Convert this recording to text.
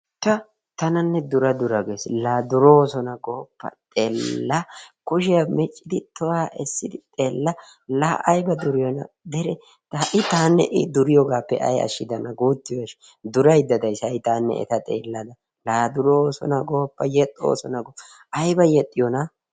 Ta tananne dura dura ges la duroosona gooppa xeella kushiya miccidi tohuwa essidi xeella la ayiba duriyoona dere ha7i taanne i duriyoogaappe ayi ashshidanaa guuttiyo durayidda dayis ha7i taanne eta xeellada la duroosona gooppa yexxoosona gooppa ayiba yexxiyoonaa.